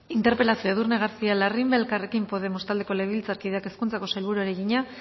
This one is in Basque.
interpelazioa edurne garcía larrimbe elkarrekin podemos taldeko legebiltzarkideak hezkuntzako sailburuari egina